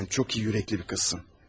Sən çox iyi ürəkli bir qızsan.